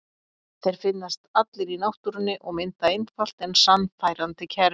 Þeir finnast allir í náttúrunni og mynda einfalt en sannfærandi kerfi.